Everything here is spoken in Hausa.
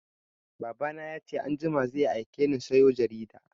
Baba na ya ce anjima zai aike ni sayo jarida